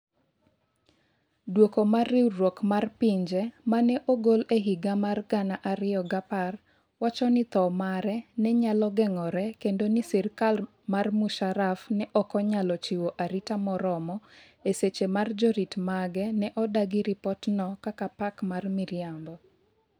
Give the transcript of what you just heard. duoko mar Riwruok mar Pinje ma ne ogol e higa mar 2010, wacho ni tho mare ne nyalo geng'ore kendo ni sirkal mar Musharraf ne ok onyalo chiwo arita moromo - e seche ma jorit mage ne odagi ripotno kaka "pack mar miriambo".